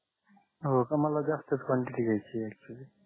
हो का मला जास्त क्वांटिटी घ्याची आहे अॅक्चुअल्ली